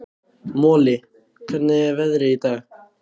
Moli, hvernig er veðrið í dag?